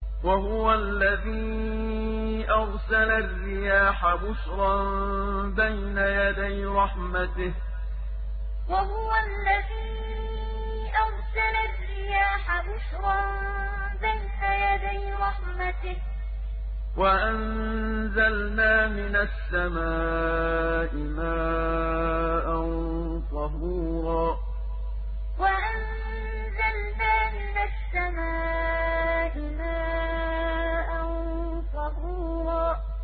وَهُوَ الَّذِي أَرْسَلَ الرِّيَاحَ بُشْرًا بَيْنَ يَدَيْ رَحْمَتِهِ ۚ وَأَنزَلْنَا مِنَ السَّمَاءِ مَاءً طَهُورًا وَهُوَ الَّذِي أَرْسَلَ الرِّيَاحَ بُشْرًا بَيْنَ يَدَيْ رَحْمَتِهِ ۚ وَأَنزَلْنَا مِنَ السَّمَاءِ مَاءً طَهُورًا